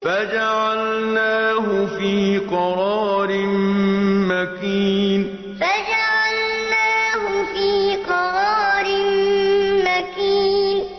فَجَعَلْنَاهُ فِي قَرَارٍ مَّكِينٍ فَجَعَلْنَاهُ فِي قَرَارٍ مَّكِينٍ